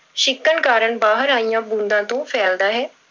ਛਿੱਕਣ ਕਾਰਨ ਬਾਹਰ ਆਈਆਂ ਬੂੰਦਾਂ ਤੋਂ ਫੈਲਦਾ ਹੈ।